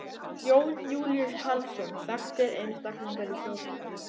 Jón Júlíus Karlsson: Þekktir einstaklingar í þjóðfélaginu?